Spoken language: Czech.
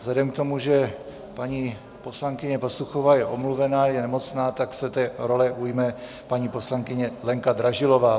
Vzhledem k tomu, že paní poslankyně Pastuchová je omluvena, je nemocná, tak se té role ujme paní poslankyně Lenka Dražilová.